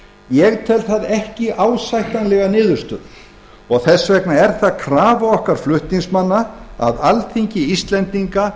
ég tel það ekki ásættanlega niðurstöðu það er því krafa okkar flutningsmanna að alþingi íslendinga